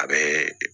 A bɛ